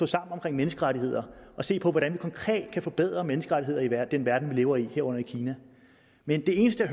sammen om menneskerettigheder og set på hvordan vi konkret kan forbedre menneskerettigheder i den verden vi lever i herunder i kina men det eneste